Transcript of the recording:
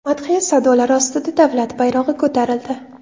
Madhiya sadolari ostida davlat bayrog‘i ko‘tarildi.